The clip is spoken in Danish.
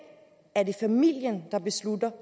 er det familien der beslutter